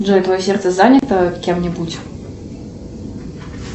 джой твое сердце занято кем нибудь